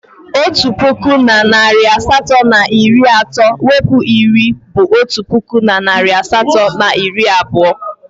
Otu puku na narị asatọ na iri atọ mwepu iri bụ otu puku na narị asatọ na iri abụọ.